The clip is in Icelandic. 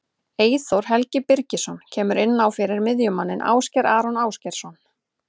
Eyþór Helgi Birgisson kemur inn á fyrir miðjumanninn Ásgeir Aron Ásgeirsson.